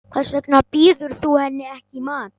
Hvers vegna býður þú henni ekki í mat.